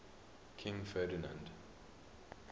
king ferdinand